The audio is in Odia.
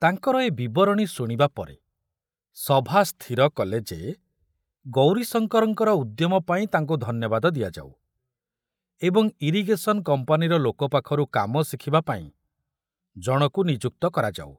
ତାଙ୍କର ଏ ବିବରଣୀ ଶୁଣିବା ପରେ ସଭା ସ୍ଥିର କଲେ ଯେ ଗୌରୀଶଙ୍କରଙ୍କର ଉଦ୍ୟମ ପାଇଁ ତାଙ୍କୁ ଧନ୍ୟବାଦ ଦିଆଯାଉ ଏବଂ ଇରିଗେଶନ କମ୍ପାନୀର ଲୋକ ପାଖରୁ କାମ ଶିଖୁବା ପାଇଁ ଜଣକୁ ନିଯୁକ୍ତ କରାଯାଉ।